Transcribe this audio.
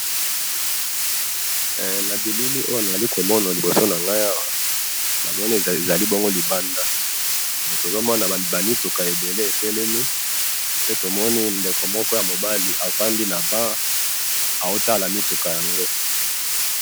na bilili oyo na zali to mona na liboso nangai awa namoni ezali bongo libanda tozo mona ba mituka ebele etelemi pe tomoni ndeka moko ya mobali avandi na ban azotala mituka yango